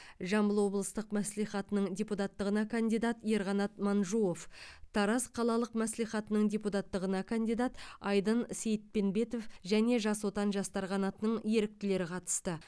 жамбыл облыстық мәслихатының депутаттығына кандидат ерқанат манжуов тараз қалалық мәслихатының депутаттығына кандидат айдын сейітпенбетов және жас отан жастар қанатының еріктілері қатысты